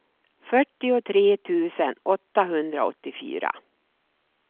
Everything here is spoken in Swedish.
fyrtiotre tusen åttahundraåttiofyra